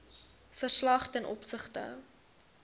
verslag ten opsigte